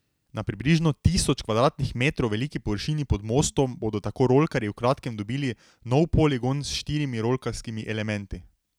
Na približno tisoč kvadratnih metrov veliki površini pod mostom bodo tako rolkarji v kratkem dobili nov poligon s štirimi rolkarskimi elementi.